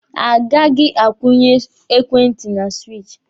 A gaghị a kwụnye ekwentị na siwichi.